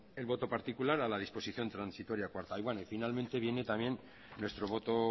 el voto particular a la disposición transitoria cuarta y bueno finalmente viene también nuestro voto